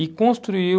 E construiu...